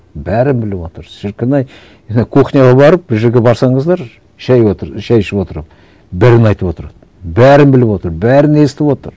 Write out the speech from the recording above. бәрін біліп отыр шіркін ай ана кухняға барып бір жерге барсаңыздар шай шай ішіп отырып бәрін айтып отырады бәрін біліп отыр бәрін естіп отыр